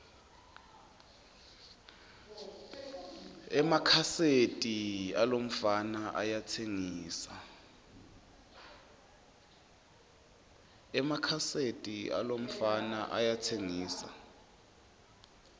emakhaseti alomfana ayatsengisa